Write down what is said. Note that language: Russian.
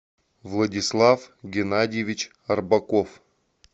владислав геннадьевич рыбаков